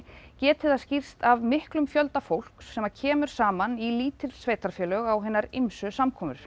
geti það skýrst af miklum fjölda fólks sem kemur saman í lítil sveitarfélög á hinar ýmsu samkomur